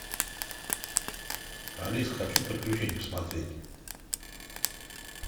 алиса хочу приключения посмотреть